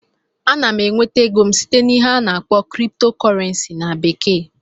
Ana m enweta ego m site n'ihe a na-akpọ "crypto currency" na bekee